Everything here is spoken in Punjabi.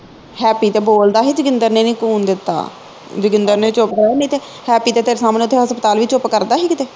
ਹੈਪੀ ਤੇ ਬੋਲਦਾ ਹੀ ਤੇਜਿੰਦਰ ਨੇ ਨੀ ਖੂਨ ਦਿੱਤਾ ਜੋਗਿੰਦਰ ਨੇ ਚੁੱਪ ਕਰਾਇਆ ਨਹੀ ਤੇ ਹੈਪੀ ਦੇ ਤੇ ਸਾਹਮਣੇ ਹਸਪਤਾਲ ਵੀ ਚੁੱਪ ਕਰਦਾ ਹੀ ਕਿਤੇ